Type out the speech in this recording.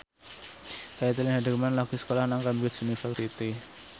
Caitlin Halderman lagi sekolah nang Cambridge University